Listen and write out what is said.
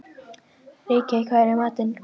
Ríkey, hvað er í matinn?